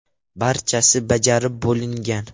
Barchasi bajarib bo‘lingan.